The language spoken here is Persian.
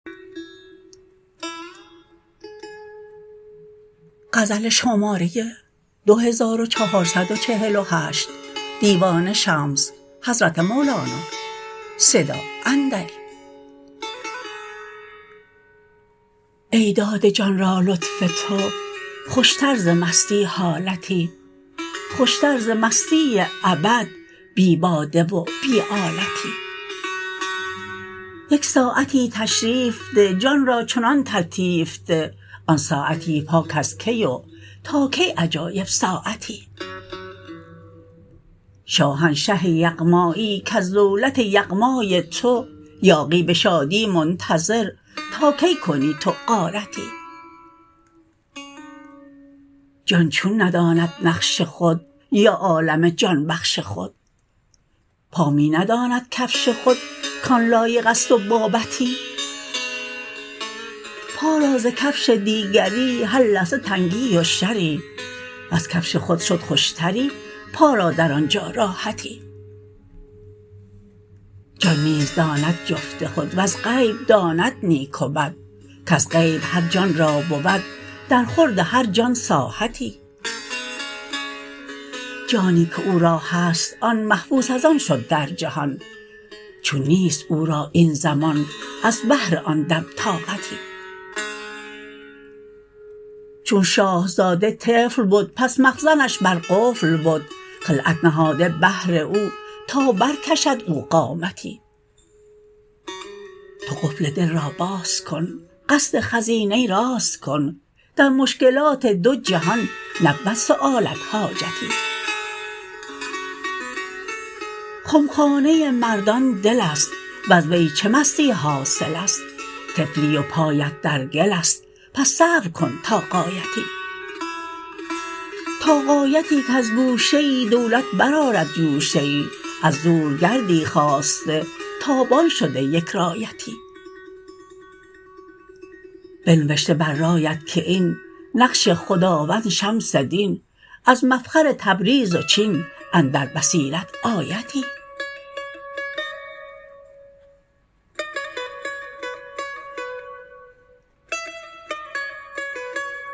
ای داده جان را لطف تو خوشتر ز مستی حالتی خوشتر ز مستی ابد بی باده و بی آلتی یک ساعتی تشریف ده جان را چنان تلطیف ده آن ساعتی پاک از کی و تا کی عجایب ساعتی شاهنشه یغماییی کز دولت یغمای تو یاغی به شادی منتظر تا کی کنی تو غارتی جان چون نداند نقش خود یا عالم جان بخش خود پا می نداند کفش خود کان لایق است و بابتی پا را ز کفش دیگری هر لحظه تنگی و شری وز کفش خود شد خوشتری پا را در آن جا راحتی جان نیز داند جفت خود وز غیب داند نیک و بد کز غیب هر جان را بود درخورد هر جان ساحتی جانی که او را هست آن محبوس از آن شد در جهان چون نیست او را این زمان از بهر آن دم طاقتی چون شاه زاده طفل بد پس مخزنش بر قفل بد خلعت نهاده بهر او تا برکشد او قامتی تو قفل دل را باز کن قصد خزینه راز کن در مشکلات دو جهان نبود سؤالت حاجتی خمخانه مردان دل است وز وی چه مستی حاصل است طفلی و پایت در گل است پس صبر کن تا غایتی تا غایتی کز گوشه ای دولت برآرد جوشه ای از دور گردی خاسته تابان شده یک رایتی بنوشته بر رایت که این نقش خداوند شمس دین از مفخر تبریز و چین اندر بصیرت آیتی